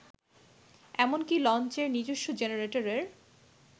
এমনকি লঞ্চের নিজস্ব জেনারেটরের